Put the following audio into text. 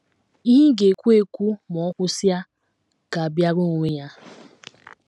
Ihe ị ga - ekwu - ekwu ma o kwusịa ga - abịara onwe ya.